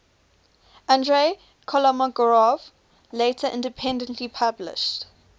andrey kolmogorov later independently published